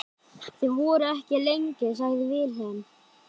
Þið voruð ekki lengi, sagði Vilhelm.